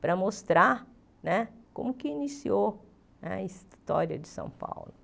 para mostrar né como que iniciou a história de São Paulo.